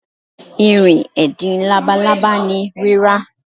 Irin edin labalaba ni rira.